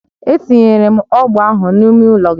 Etinyere m ọgbọ ahụ n'ime ụlọ gị